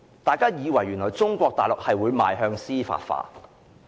大家以為中國大陸會邁向司法化。